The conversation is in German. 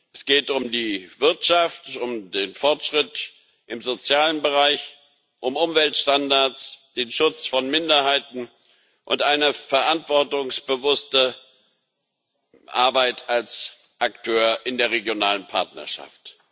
Es geht um die Wirtschaft, um den Fortschritt im sozialen Bereich, um Umweltstandards, den Schutz von Minderheiten und eine verantwortungsbewusste Arbeit als Akteur in der regionalen Partnerschaft.